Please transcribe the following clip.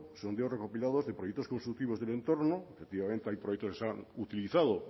sondeos recopilados de proyectos consultivos del entorno efectivamente hay proyectos que se han utilizado